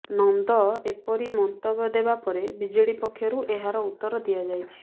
ନନ୍ଦ ଏପରି ମନ୍ତବ୍ୟ ଦେବା ପରେ ବିଜେଡି ପକ୍ଷରୁ ଏହାର ଉତ୍ତର ଦିଆଯାଇଛି